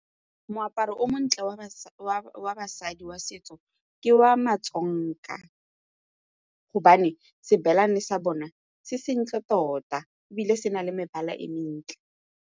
Moaparo o montle wa basadi wa setso ke wa ma-Tsonga gobane xibelane sa bona se se ntle tota ebile se na le mebala e mentle.